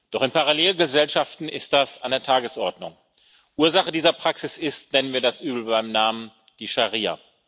Doch in Parallelgesellschaften ist das an der Tagesordnung. Ursache dieser Praxis ist nennen wir das Übel beim Namen die Scharia.